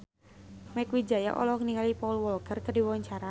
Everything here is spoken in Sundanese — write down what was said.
Mieke Wijaya olohok ningali Paul Walker keur diwawancara